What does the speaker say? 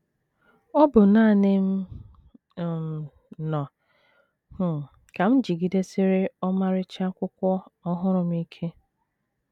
Ọ bụ nanị m um nọ um, ka m jigidesiri ọmarịcha akwụkwọ ọhụrụ m ike.